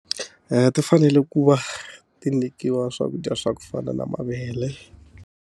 ti fanele ku va ti nyikiwa swakudya swa ku fana na mavele.